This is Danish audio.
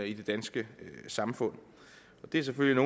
i det danske samfund det er selvfølgelig